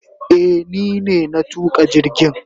Eh ni ne na tuka jirgin.